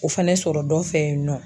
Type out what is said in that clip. O fɛnɛ sɔrɔ dɔ fɛ yen nɔ.